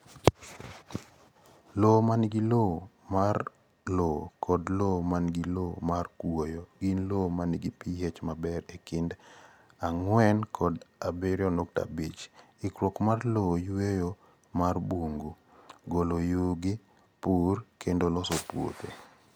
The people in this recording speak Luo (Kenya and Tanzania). cccccccsLowo ma nigi lowo mar lowo kod lowo ma nigi lowo mar kuoyo gin lowo ma nigi pH maber e kind 4.0 kod 7.5 Ikruok mar lowo Yueyo mar bungu, golo yugi, pur, kendo loso puothe.